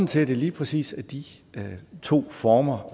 til at det lige præcis er de to former